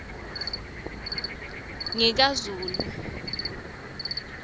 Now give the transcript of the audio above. ngikazulu